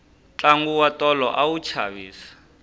tlangu wa tolo a wu chavisa